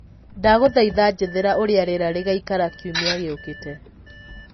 ndagũthaĩtha njethera ũrĩa rĩera rĩgaĩkara kĩumĩa gĩũkĩte